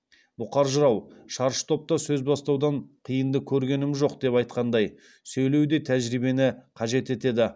бұқар жырау шаршы топта сөз бастаудан қиынды көргенім жоқ деп айтқандай сөйлеу де тәжірибені қажет етеді